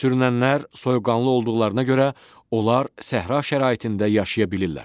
Sürünənlər soyuqqanlı olduqlarına görə onlar səhra şəraitində yaşaya bilirlər.